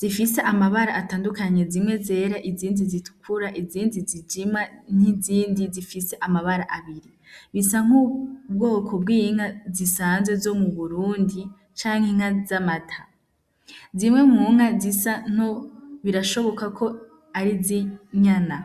zifise amabara atandukanyi zimwe zera izindi zitukura izindi zijima n'izindi zifise amabara abiri bisa nk'ubwoko bwinka zisanzwe zo mu burundi canke inka z'amata zimwe munka zisa nobra rashoboka ko ari zinyana.